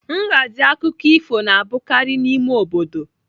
Nhazi akụkọ ifo na-abụkarị n'ime obodo.